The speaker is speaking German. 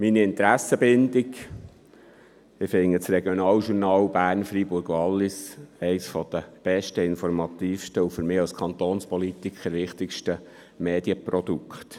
Meine Interessenbindung: Ich halte das «Regionaljournal Bern Freiburg Wallis» für eines der besten, informativsten und für mich als Kantonspolitiker wichtigsten Medienprodukte.